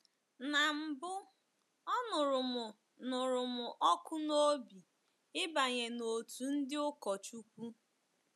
Ná mbụ, ọ nụrụ m nụrụ m ọkụ n’obi ịbanye n’òtù ndị ụkọchukwu.